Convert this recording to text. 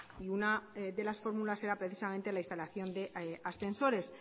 y una de las fórmulas era precisamente la instalación de ascensores